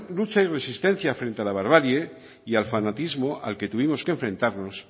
lucha y resistencia frente la barbarie y al fanatismo al que tuvimos que enfrentarnos